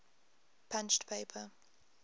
punched paper